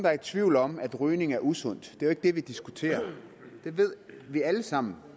er i tvivl om at rygning er usundt det er jo ikke det vi diskuterer det ved vi alle sammen